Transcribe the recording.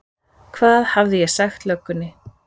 Hvað hafði ég sagt löggunni?